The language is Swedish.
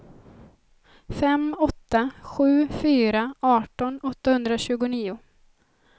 fem åtta sju fyra arton åttahundratjugonio